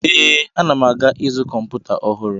Ee, ana m aga izu kọmputa ọhụrụ.